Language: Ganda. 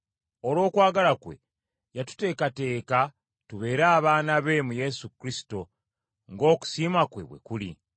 Olw’okwagala kwe, yatuteekateeka tubeere abaana be mu Yesu Kristo, ng’okusiima kwe bwe kuli.